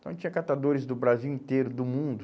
Então, tinha catadores do Brasil inteiro, do mundo.